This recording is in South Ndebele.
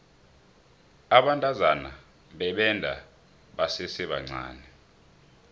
abantazana bebenda basesebancani